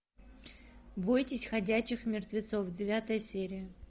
бойтесь ходячих мертвецов девятая серия